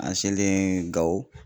An selen gawo